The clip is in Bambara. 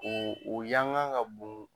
U u yanga ka bon.